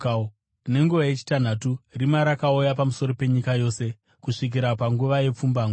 Nenguva yechitanhatu rima rakauya pamusoro penyika yose kusvikira panguva yepfumbamwe.